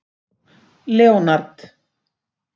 Leonard